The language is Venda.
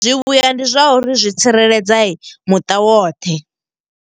Zwivhuya ndi zwa uri zwi tsireledza muṱa woṱhe.